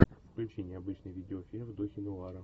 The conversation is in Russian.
включи необычный видеофильм в духе нуара